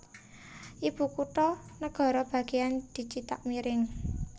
Ibukutha negara bagéyan dicithak miring